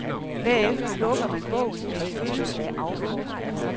Bagefter lukker man bogen med en følelse af afmagt.